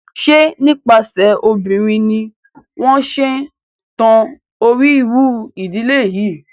Ṣe nípasẹ̀ obìnrin ni wọ́n ṣe ń tan orírun ìdílé yín?